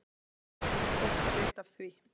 Það var gott vita af því.